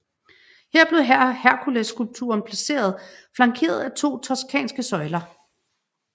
Her blev Herkulesskulpturen placeret flankeret af to toscanske søjler